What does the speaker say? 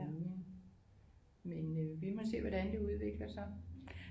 Men øh vi må se hvordan det udvikler sig